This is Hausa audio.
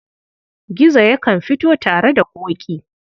Gizo yakan fito tare da Ƙoƙi.